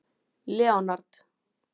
Leonard